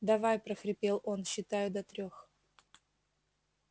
давай прохрипел он считаю до трёх